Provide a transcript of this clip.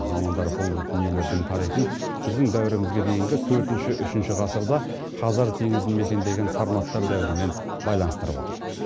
мамандар бұл дүниелердің тарихын біздің дәуірімізге дейінгі төртінші үшінші ғасырда хазар теңізін мекендеген сарматтар дәуірімен байланыстырып отыр